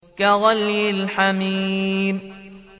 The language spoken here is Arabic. كَغَلْيِ الْحَمِيمِ